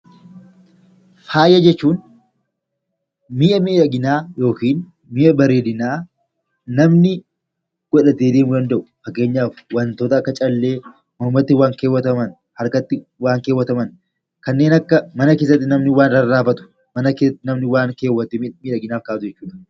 faaya jechuun mi'a miidhaginaa yookiin mi'a bareedinaa namni godhatee deemuu danda'u fakkeenyaaf wantoota akka callee mormatti kan uffataman harkatti waan kaa'ataman kanneen akka mana keessatti namni waa rarraafatu mana keessatti namni miidhaginaaf kaawwatu jechuudha.